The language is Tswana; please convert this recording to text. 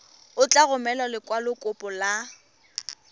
o tla romela lekwalokopo la